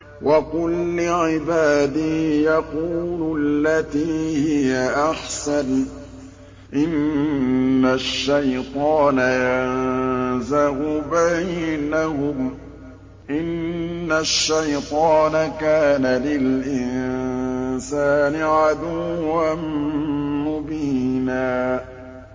وَقُل لِّعِبَادِي يَقُولُوا الَّتِي هِيَ أَحْسَنُ ۚ إِنَّ الشَّيْطَانَ يَنزَغُ بَيْنَهُمْ ۚ إِنَّ الشَّيْطَانَ كَانَ لِلْإِنسَانِ عَدُوًّا مُّبِينًا